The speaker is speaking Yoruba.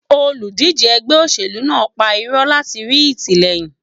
Olùdíje ẹgbẹ́ òṣèlú náà ń pa irọ́ láti rí ìtìlẹyìn.